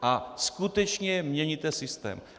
A skutečně měníte systém.